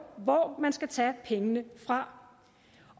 hvor man skal tage pengene fra